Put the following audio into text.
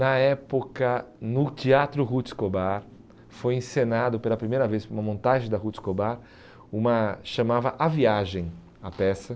Na época, no Teatro Ruth Scobar, foi encenado pela primeira vez, uma montagem da Ruth Scobar, uma chamava A Viagem, a peça.